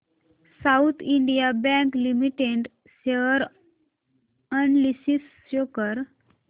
south Indian bank limited share analysis show कर